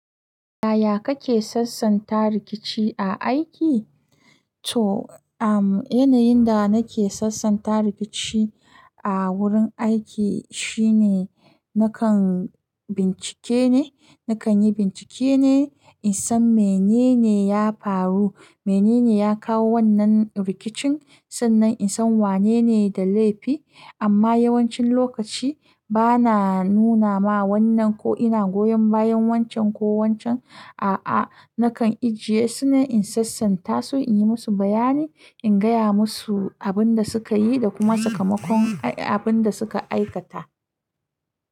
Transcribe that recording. Yaya kake sassanta rikici a aiki? To, um, yanayin da nake sassanta rikici a wurin aiki shine nakan bincike ne, nakan yi bincike ne insan menene ya faru, menene ya kawo wannan rikicin, sannan insan wanene da laifi. Amma yawancin lokaci bana nunama wannan ko ina goyon bayan wancan ko wancan. A'a, nakan ajiye sune in sassanta su inyi musu bayani, in gaya musu abin da suka yi da kuma sakamakon abin da suka aikata.